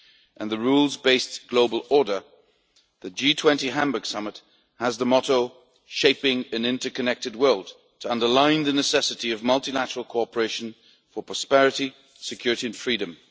and the rules based global order, the G20 Hamburg summit has the motto Shaping an interconnected world', to underline the necessity of multilateral cooperation for prosperity, security and freedom.